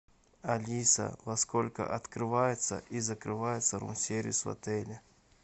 алиса во сколько открывается и закрывается рум сервис в отеле